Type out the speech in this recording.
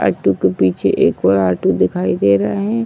Auto के पीछे एक और आटो दिखाई दे रहा है।